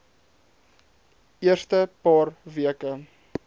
eerste paar weke